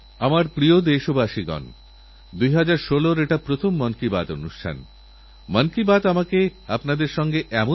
আমারপ্রিয় দেশবাসী নমস্কার আজ সকালসকাল দিল্লির তরুণ বন্ধুদের সঙ্গে কিছু সময়কাটানোর সুযোগ আমার হয়েছিল